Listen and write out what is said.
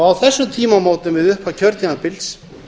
á þessum tímamótum við upphaf kjörtímabils